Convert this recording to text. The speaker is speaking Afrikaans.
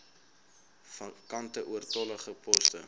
vakante oortollige poste